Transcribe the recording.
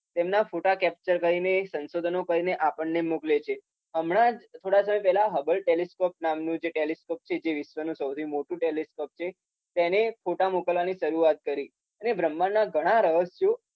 તેમ તેના ફોટા કેપ્ચર કરીને, સંશોધનો કરીને આપણને મોકલે છે. હમણા થોડા સમય પહેલા હર્બલ ટેલીસ્કોપ નામનુ જે ટેલીસ્કોપ છે. જે વિશ્વનુ સૌથી મોટુ ટેલીસ્કોપ છે. તેને ફોટા મોકલવાની શરૂઆત કરી. અને બ્રહ્માંડના ઘણા રહસ્યો